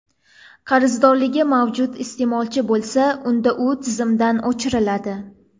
Qarzdorligi mavjud iste’molchi bo‘lsa, unda u tizimdan o‘chiriladi.